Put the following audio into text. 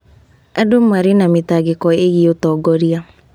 Andũ marĩ na mĩtangĩko ĩgiĩ ũtongoria.